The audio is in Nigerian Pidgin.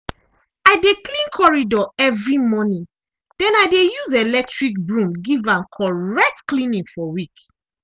i dey clean corridor evri morning den i dey use electric broom give am correct cleaning for week.